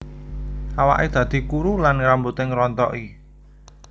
Awake dadi kuru lan rambute ngrontoki